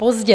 Pozdě!